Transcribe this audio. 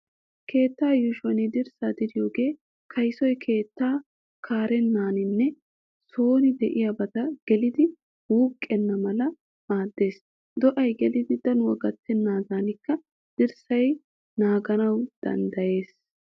Keettaa yuushuwan dirssaa diriyogee kaysoy keettaa kareeninne sooni de'iyabata gelidinne wuuqqenna mala maaddees. Do"ay gelidi danuwaa gattennaadanikka dirssay naaganawu dannddayees.